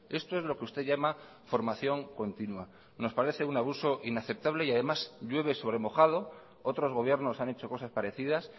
esto es lo que usted llama formación continua nos parece un abuso inaceptable y además llueve sobre mojado otros gobiernos han hecho cosas parecidas